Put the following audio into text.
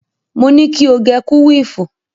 Mo ní kí o gẹ kúwìfù.